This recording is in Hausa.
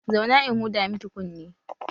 Zauna in huda miki kunne!